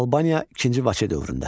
Albaniya II Vaçe dövründə.